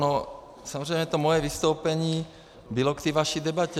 No samozřejmě to moje vystoupení bylo k té vaší debatě.